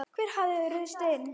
Hver hafði ruðst inn?